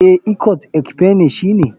Eh, ikot ekpene shine.